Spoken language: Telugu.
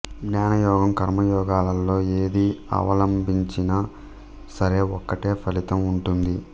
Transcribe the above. జ్ఞానయోగం కర్మయోగాలలో ఏది అవలంబించినా సరే ఒకటే ఫలితం ఉంటుంది